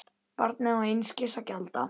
Barnið á einskis að gjalda.